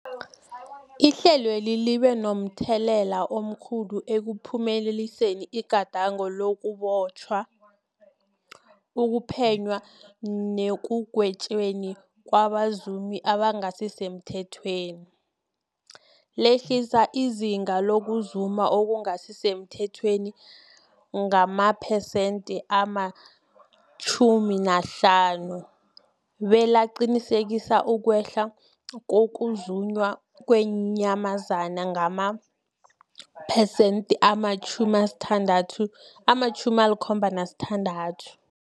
Ihlelweli libe momthelela omkhulu ekuphumeleliseni igadango lokubotjhwa, ukuphenywa nekugwetjweni kwabazumi abangasisemthethweni, lehlisa izinga lokuzuma okungasi semthethweni ngamaphesenthe-50, belaqinisekisa ukwehla kokuzunywa kweenyamazana ngamaphesenthe-76.